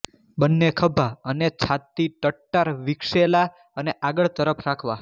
બંને ખભા અને છાતી ટટ્ટાર વિકસેલા અને આગળ તરફ રાખવા